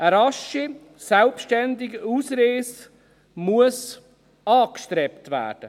Eine rasche selbstständige Ausreise muss angestrebt werden.